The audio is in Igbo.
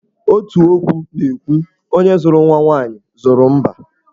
Otu okwu na-ekwu 'Onye zụrụ nwa nwaanyị, zụrụ mbá'.